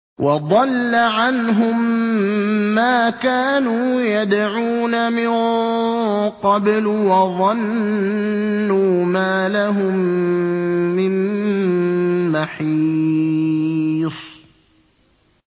وَضَلَّ عَنْهُم مَّا كَانُوا يَدْعُونَ مِن قَبْلُ ۖ وَظَنُّوا مَا لَهُم مِّن مَّحِيصٍ